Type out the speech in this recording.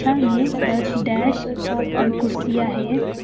बगल में दस डेकस और कुर्सियां हैं।